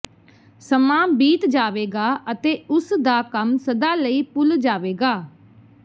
ਸਮਾਂ ਬੀਤ ਜਾਵੇਗਾ ਅਤੇ ਉਸ ਦਾ ਕੰਮ ਸਦਾ ਲਈ ਭੁੱਲ ਜਾਵੇਗਾ